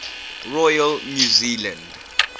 royal new zealand